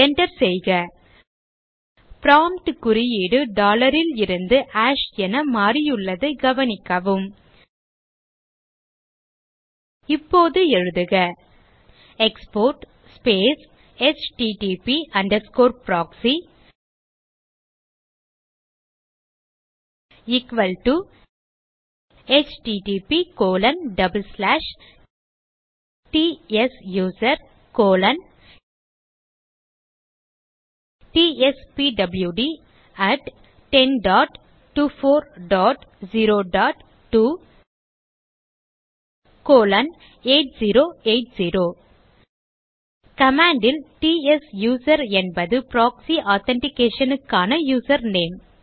enter செய்க prompt குறியீடு DOLLAR லிருந்து ஹாஷ் என மாறியுள்ளதை கவனிக்கவும் இப்போது எழுதுக export space HTTP underscore proxy equal டோ httptsusertspwd1024028080 command ல் ட்சூசர் என்பது ப்ராக்ஸி authentication க்கான யூசர்நேம்